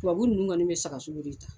Tubabu ninnu kɔni bɛ saga sogo de ta.